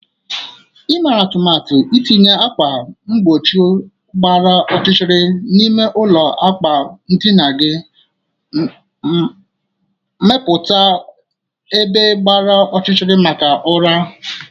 Ị mere atụmatụ itinye ákwà mgbochi gbara ọchịchịrị n'ime ụlọ akwa ndina gị iji mepụta ebe gbara ọchịchịrị maka ụra.